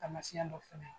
Taamasiyɛn dɔ fana ye